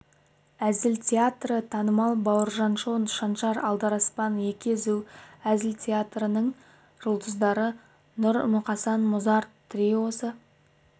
әзіл театры танымал бауыржан шоу шаншар алдараспан екі езу әзіл театрларының жұлдыздары нұр-мұқасан музарт триосы